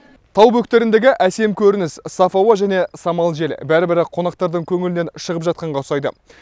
тау бөктеріндегі әсем көрініс саф ауа және самал жел бәрі бірі қонақтардың көңілінен шығып жатқанға ұқсайды